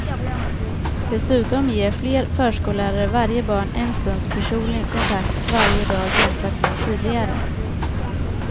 Dessutom ger fler förskollärare varje barn en stunds personlig kontakt varje dag jämfört med tidigare.